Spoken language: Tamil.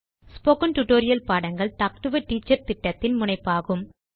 ஸ்போகன் டுடோரியல் பாடங்கள் டாக் டு எ டீச்சர் திட்டத்தின் முனைப்பாகும்